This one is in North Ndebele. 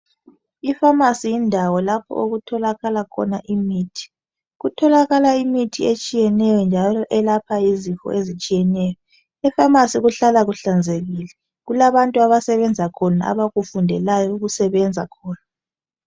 Ipharmacy yindawo lapho okutholakala khona imithi , kutholakala imithi etshiyeneyo njalo elapha izifo ezitshiyeneyo , epharmacy ukuhlala kuhlanzekile , kulabantu abasebenza khona abakufundeleyo ukusebenza khona